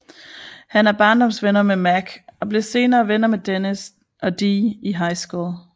Han er barndomsvenner med Mac og bliver senere venner med Dennis og Dee i high school